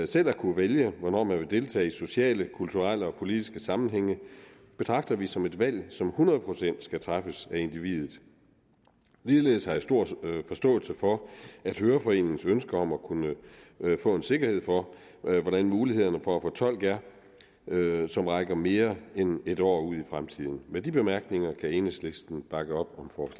selv at kunne vælge hvornår man vil deltage i sociale kulturelle og politiske sammenhænge betragter vi som et valg som hundrede procent skal træffes af individet ligeledes har jeg stor forståelse for høreforeningens ønske om at kunne få en sikkerhed for hvordan mulighederne for at få tolk er som rækker mere end en år ud i fremtiden med de bemærkninger kan enhedslisten bakke op